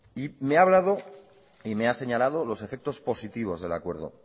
y me ha hablado y me ha señalado los efectos positivos del acuerdo